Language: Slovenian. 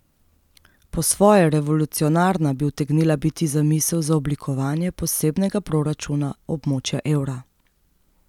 Po svoje revolucionarna bi utegnila biti zamisel za oblikovanje posebnega proračuna območja evra.